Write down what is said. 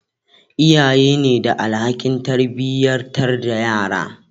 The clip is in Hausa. iyaye ne da alhakin tarbiyatar da yara